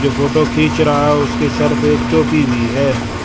जो फोटो खींच रहा है उसके सर पे एक टोपी भी है।